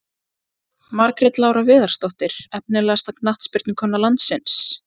Margrét Lára Viðarsdóttir Efnilegasta knattspyrnukona landsins?